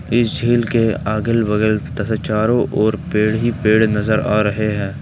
इस झील के अगल बगल तथा चारों ओर पेड़ ही पेड़ नजर आ रहे हैं।